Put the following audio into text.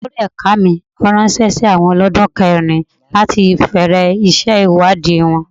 Olórí ẹ̀ka mi ránṣẹ́ sí àwọn olodun kẹrin láti bẹ̀rẹ̀ iṣẹ́ ìwádìí wọn.